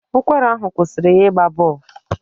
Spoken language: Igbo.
Ụkwara ahụ kwụsịrị ya ịgba bọl.